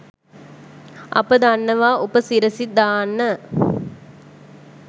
අප දන්නවා උප සිරැසි දාන්න